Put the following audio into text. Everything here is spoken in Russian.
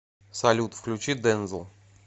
салют включи дензел